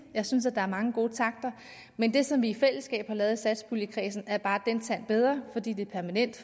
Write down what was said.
jeg synes at der er mange gode takter i men det som vi i fællesskab har lavet i satspuljekredsen er bare en tand bedre fordi det er permanent